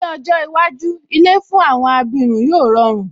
Ní ọjọ́ iwájú, ilé fún àwọn abirùn yóò rọrùn